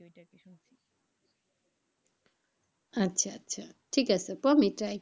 আচ্ছা আচ্ছা, ঠিক আছে try,